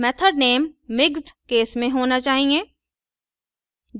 method name mixed case में होना चाहिए